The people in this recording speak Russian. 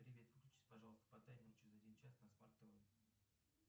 привет выключись пожалуйста по таймеру через один час на смарт тв